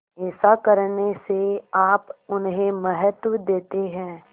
ऐसा करने से आप उन्हें महत्व देते हैं